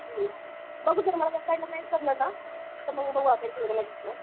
हुं बघू जर मला या साईडला नाही भेटलं ना मग बघू तिकडं.